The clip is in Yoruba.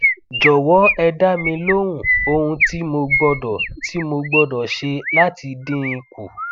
jọwọ ẹ dá mi lóhùn ohun tí mo gbọdọ tí mo gbọdọ ṣe láti dín in kù